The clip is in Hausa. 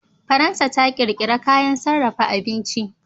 Faransa ta ƙirƙira kayan sarrafa abinci.